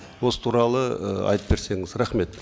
осы туралы ы айтып берсеңіз рахмет